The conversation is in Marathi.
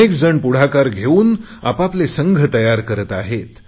अनेकजण पुढाकार घेऊन आपआपले संघ तयार करत आहे